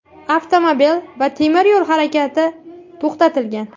Avtomobil va temir yo‘l harakati to‘xtatilgan.